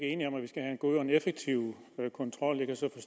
god og effektiv kontrol